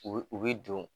U bi u bi don